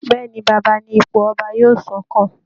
Bẹ́ẹ̀ ni, baba ni ipò ọba yóò sún kàn